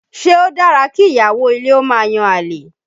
Ṣé o dára kí ìyàwó ilé ó máa yan àlè?